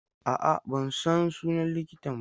A'a, ban san sunan likitan ba.